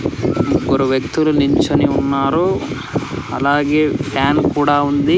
ముగ్గురు వ్యక్తులు నించోని ఉన్నారు అలాగే ఫ్యాన్ కూడా ఉంది.